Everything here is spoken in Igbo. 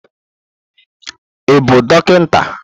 Ị bụ dọkịta?